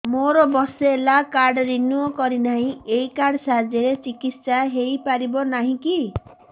ମୋର ବର୍ଷେ ହେଲା କାର୍ଡ ରିନିଓ କରିନାହିଁ ଏହି କାର୍ଡ ସାହାଯ୍ୟରେ ଚିକିସୟା ହୈ ପାରିବନାହିଁ କି